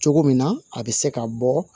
Cogo min na a bɛ se ka bɔ